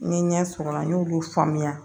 N ye ɲɛ sɔrɔ o la n y'olu faamuya